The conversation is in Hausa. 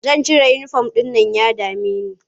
Zan cire uniform ɗin nan ya dame ni.